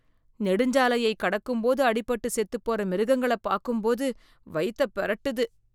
நெடுஞ்சாலையக் கடக்கும்போது அடிபட்டுச் செத்துப் போற மிருகங்களப் பார்க்கும்போது வயித்தப் பெரட்டுது.